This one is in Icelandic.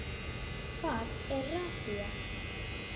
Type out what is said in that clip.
Hvað er rassía?